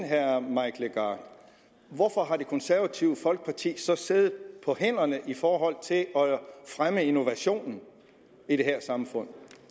herre mike legarth hvorfor har det konservative folkeparti så siddet på hænderne i forhold til at fremme innovationen i det her samfund